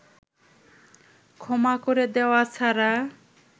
ক্ষমা করে দেওয়া ছাড়া